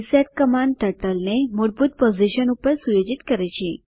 reset command ટર્ટલને મૂળભૂત position પર સુયોજિત કરે છે